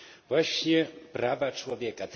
właśnie prawa człowieka.